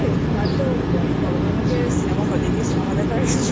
এতো গরমের মধ্যে Cinemaহল এ গিয়ে Cinema দেখার সুযোগ